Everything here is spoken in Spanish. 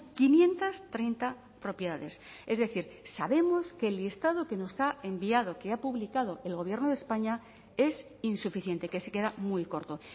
quinientos treinta propiedades es decir sabemos que el listado que nos ha enviado que ha publicado el gobierno de españa es insuficiente que se queda muy corto